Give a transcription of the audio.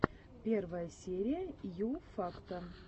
первая серия ю факта